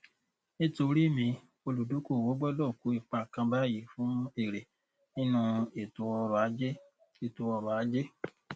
nítorí mi olùdókòwò gbọdọ kó ipa kan báyìí fún èrè nínú ètò ọrọ ajé ètò ọrọ ajé